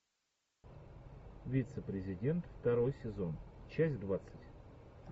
вице президент второй сезон часть двадцать